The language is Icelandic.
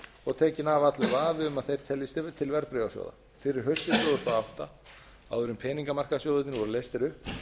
og tekinn af allur vafi um að þeir teljist til verðbréfasjóða fyrir haustið tvö þúsund og átta áður en peningamarkaðssjóðirnir voru leystir upp